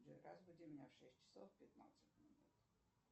джой разбуди меня в шесть часов пятнадцать минут